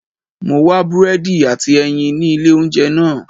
Mo wá búrẹ́dì àti ẹyin ní ilé oúnjẹ náà.